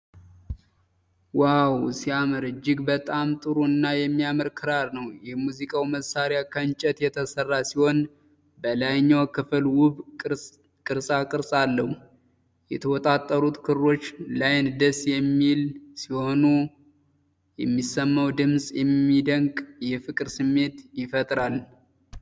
ዋው ሲያምር! እጅግ በጣም ጥሩ እና የሚያምር ክራር ነው። የሙዚቃው መሣሪያ ከእንጨት የተሠራ ሲሆን፣ በላይኛው ክፍል ውብ ቅርጻቅርጽ አለው። የተወጠሩት ክሮች ለዓይን ደስ የሚል ሲሆኑ፣ የሚሰማው ድምጽ የሚደንቅ የፍቅር ስሜት ይፈጥራል።